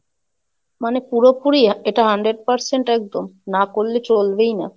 মানে পুরোপুরি এটা Hundred percent একদম, না করলে চলবেই না।